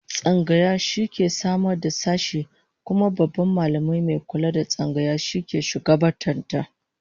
Tsangaya ita ke sama da sashe, kuma Babban Mallami mai kula da Tsangaya shi ke shugabantar ta